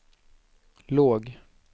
låg